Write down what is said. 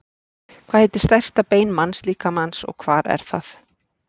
Hvað heitir stærsta bein mannslíkamans og hvar er það?